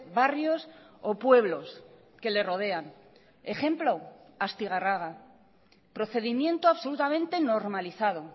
barrios o pueblos que le rodean ejemplo astigarraga procedimiento absolutamente normalizado